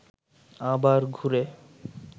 আবার ঘুরে